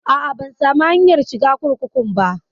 A'a, ban samu hanyar shiga kurkukun ba.